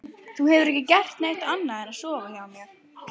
Þú hefur ekki gert annað en að sofa hjá mér.